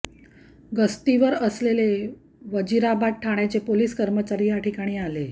गस्तीवर असलेले वजीराबाद ठाण्याचे पोलीस कर्मचारी या ठिकाणी आले